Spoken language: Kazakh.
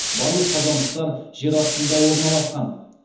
барлық қазандықтар жер астында орналасқан